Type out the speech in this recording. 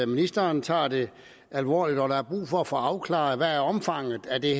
ministeren tager det alvorligt der er brug for at få afklaret hvad omfanget af det